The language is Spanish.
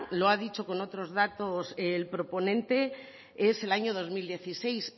lo ha dicho con otros datos el proponente es el año dos mil dieciséis